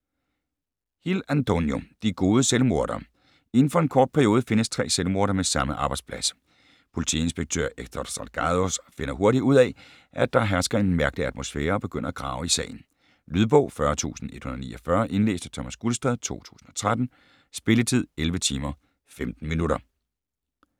Hill, Antonio: De gode selvmordere Inden for en kort periode findes tre selvmordere med samme arbejdsplads. Politiinspektør Héctor Salgados finder hurtigt ud at, at der hersker en mærkelig atmosfære og begynder at grave i sagen. Lydbog 40149 Indlæst af Thomas Gulstad, 2013. Spilletid: 11 timer, 15 minutter.